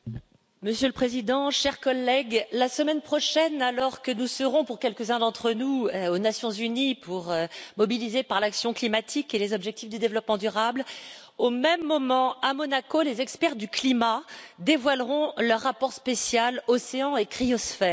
Monsieur le Président, chers collègues, la semaine prochaine, alors que nous serons, pour quelques uns d'entre nous, aux Nations unies, afin de nous mobiliser pour l'action climatique et les objectifs du développement durable, au même moment, à Monaco, les experts du climat dévoileront le rapport spécial Océan et cryosphère.